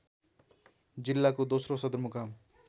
जिल्लाको दोस्रो सदरमुकाम